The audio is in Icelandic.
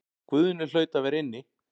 Guðni hlaut að vera inni.